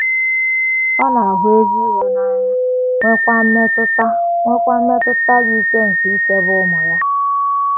Ọ “ na - ahụ ezi ikpe n’anya, ” nweekwa mmetụta ” nweekwa mmetụta dị ike nke ichebe ụmụ ya.